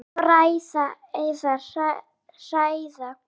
Að fræða eða hræða?